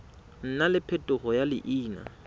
nna le phetogo ya leina